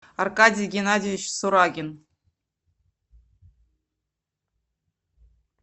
аркадий геннадьевич сурагин